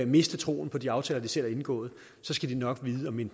miste troen på de aftaler de selv har indgået skal de nok vide at minde